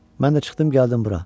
Mən də çıxdım gəldim bura.